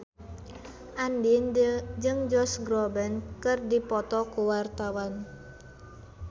Andien jeung Josh Groban keur dipoto ku wartawan